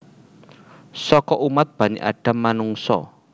Saka umat Bani Adam Manungsa